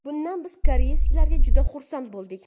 Bundan biz koreyslar juda xursand bo‘ldik.